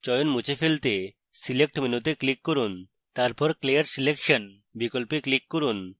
চয়ন মুছে ফেলতে select মেনুতে click করুন তারপর clear selection বিকল্পে click করুন